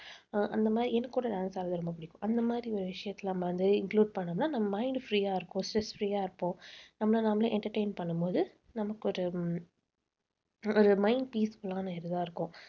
அஹ் அந்த மாதிரி எனக்கு கூட dance ஆடுறது ரொம்ப பிடிக்கும். அந்த மாதிரி ஒரு விஷயத்தில நம்ம வந்து include பண்ணோம்ன்னா நம்ம mind free ஆ இருக்கும். stress free ஆ இருப்போம். நம்மளை நாமளே entertain பண்ணும்போது நமக்கு ஒரு ஒரு mind peaceful ஆன இதுவா இருக்கும்.